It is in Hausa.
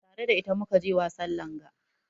Tare da ita mu ka je wasan langa.